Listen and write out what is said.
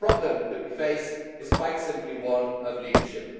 The problem that we face is quite simply one of leadership.